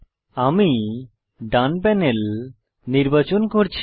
আমি ডান প্যানেল নির্বাচন করছি